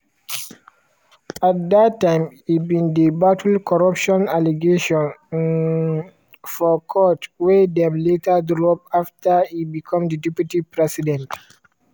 at dat time e bin dey battle corruption allegations um for court wey dem later drop after e become di deputy president.